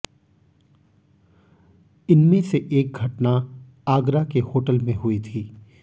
इनमें से एक घटना आगरा के होटल में हुई थी